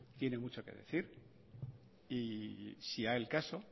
tiene mucho que decir y si llega el caso